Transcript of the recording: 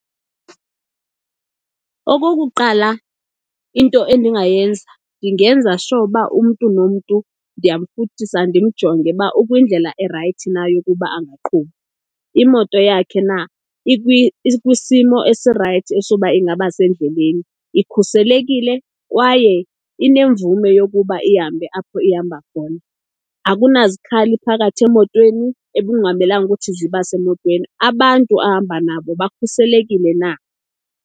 Okokuqala, into endingayenza ndingenza sure ba umntu nomntu ndiyamfuthisa ndimjonge uba ukwindlela erayithi na yokuba angaqhuba. Imoto yakhe na ikwisimo esirayithi esoba ingaba sendleleni, ikhuselekile kwaye inemvume yokuba ihambe apho ihamba khona. Akunazikhali phakathi emotweni ekungamelanga ukuthi ziba semotweni, abantu ahamba nabo bakhuselekile na.